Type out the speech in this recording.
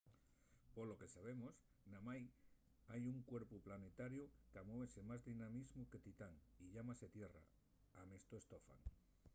polo que sabemos namái hai un cuerpu planetariu qu’amuese más dinamismu que titán y llámase tierra” amestó stofan